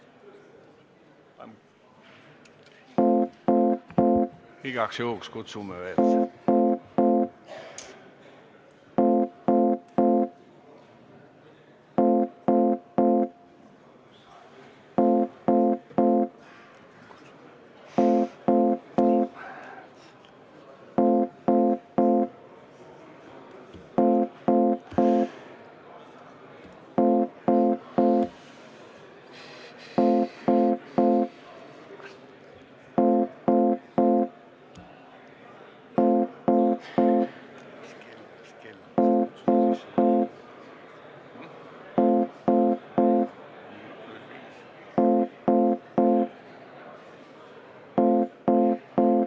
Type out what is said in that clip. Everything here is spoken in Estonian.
Igaks juhuks kutsume veel.